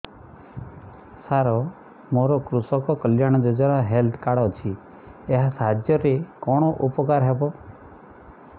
ସାର ମୋର କୃଷକ କଲ୍ୟାଣ ଯୋଜନା ହେଲ୍ଥ କାର୍ଡ ଅଛି ଏହା ସାହାଯ୍ୟ ରେ କଣ ଉପକାର ହବ